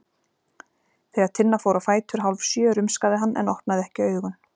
Þegar Tinna fór á fætur hálfsjö rumskaði hann en opnaði ekki augun.